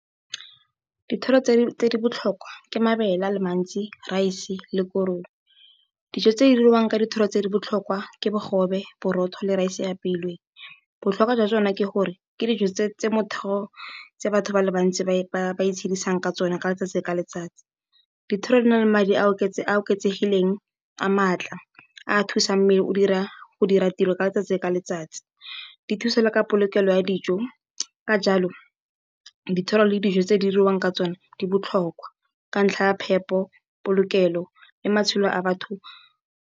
Dithoro tse di botlhokwa ke mabele a le mantsi, raese le korong. Dijo tse di diriwang ka dithoro tse di botlhokwa ke bogobe, borotho le raese e e apeilweng. Botlhokwa jwa tsone ke gore ke dijo tse motho, tse batho ba le bantsi ba itshedisang ka tsone ka letsatsi ka letsatsi. Dithoro di na le madi a a oketsegileng a maatla a a thusang mmele go dira tiro ka letsatsi ka letsatsi. Di thusa le ka polokelo ya dijo, ka jalo, dithoro le dijo tse di diriwang ka tsone di botlhokwa ka ntlha ya phepo, polokelo le matshelo a batho.